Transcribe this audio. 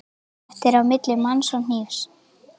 Þetta er á milli manns og hnífs.